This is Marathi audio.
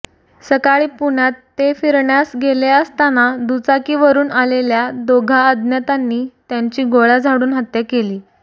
सकाळी पुण्यात ते फिरण्यास गेले असताना दुचाकीवरुन आलेल्या दोघा अज्ञातांनी त्यांची गोळ्या झाडून हत्या केली